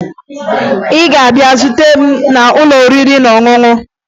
Ị ga-abịa zute m n'ụlọ oriri na ọṅụṅụ!